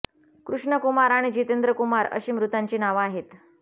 कृष्ण कुमार आणि जितेंद्र कुमार अशी मृतांची नावं आहेत